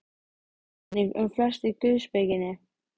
Svo var einnig um flest í guðspekinni.